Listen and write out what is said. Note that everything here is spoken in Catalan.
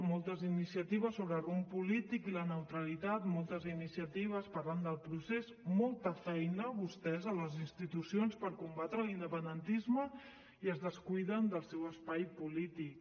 moltes iniciatives sobre rumb polític i la neutralitat moltes iniciatives parlant del procés molta feina vostès a les institucions per combatre l’independentisme i es descuiden del seu espai polític